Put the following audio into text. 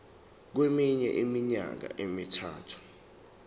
kweminye iminyaka emithathu